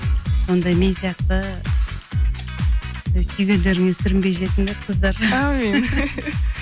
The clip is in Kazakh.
сондай мен сияқты сүйгендеріңе сүрінбей жетіңдер қыздар әумин